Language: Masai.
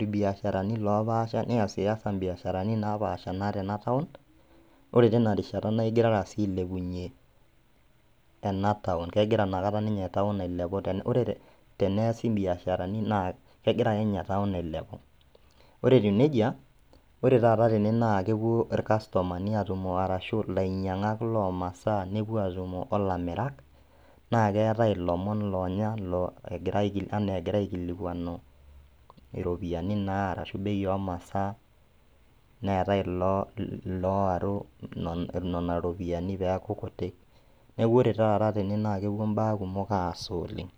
ilbiasharani loopasha niasiasa imbiasharani naapaasha naata enataun, ore tinarishata naigirara sii ailepunye enataun, kegira nakata ninye  town ailepu. Ore teneasi imbiasharani naa kegirake ninye town ailepu. Ore etiu neija, ore tata tene naakepuo ilkastomani aatumo arashu ilainyang'ak loomasaa nepuo atumo olamirak naakeetai ilomon loonya [lo] egira anaaegira aikilikuanu iropiani naa arashu  bei omasaa neetai iloo looaru nena ropiani peaku kuti. Neaku ore tata tene naakepuo imbaa kumok aasa oleng'.